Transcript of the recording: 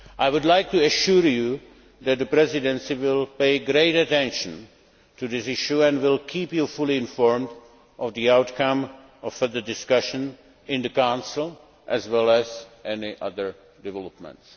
I would like to assure you that the Presidency will pay great attention to this issue and will keep you fully informed of the outcome of further discussions in the Council, as well as any other developments.